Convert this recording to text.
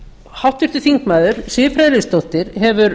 háttvirtur þingmaður siv friðleifsdóttir hefur